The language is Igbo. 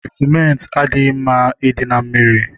Sementị adịghị mma ịdị na mmiri